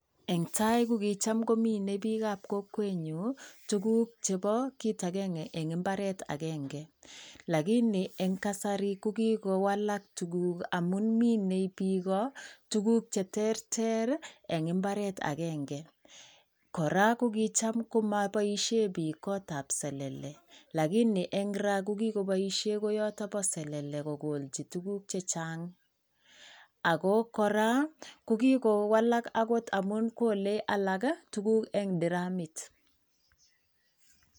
Eng tai ko kicham komine piikab kokwenyu tuguk chebo kit akenge eng mbaret akenge, lakini eng kasari ko kikowalak tuguk amun minei piko tuguk che terter eng mbaret akenge, kora kokicham ko moboisie piik kotab selele lakini eng ra kokikoboisie koyoto bo selele kokolchi tuguk che chang, ako kora ko kikowalak akot amun kole alak tuguk eng diramit.